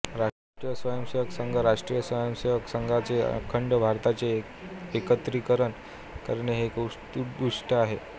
राष्ट्रीय स्वयंसेवक संघराष्ट्रीय स्वयंसेवक संघाचे अखंड भारताचे एकत्रिकरण करणे हे एक उद्दिष्ट आहे